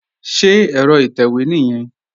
Ṣé ẹ̀rọ ìtẹ̀wé nìyẹn?